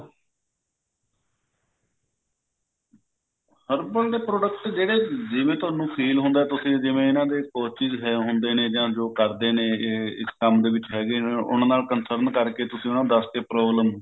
herbal ਦੇ product ਜਿਹੜੇ ਜਿਵੇਂ ਤੁਹਾਨੂੰ feel ਹੁੰਦਾ ਤੁਸੀਂ ਜਿਵੇਂ ਇਹਨਾਂ ਦੇ ਹੁੰਦੇ ਨੇ ਜਾ ਜੋ ਕਰਦੇ ਨੇ ਇਸ ਕੰਮ ਦੇ ਵਿੱਚ ਹੈਗੇ ਨੇ ਉਹਨਾਂ ਨਾਲ concern ਕਰਕੇ ਤੁਸੀਂ ਉਹਨਾਂ ਨੂੰ ਦੱਸ ਕੇ problem